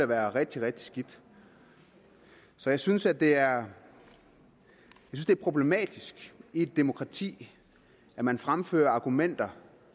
være rigtig rigtig skidt så jeg synes at det er problematisk i et demokrati at man fremfører argumenter